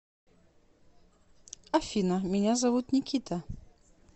афина меня зовут никита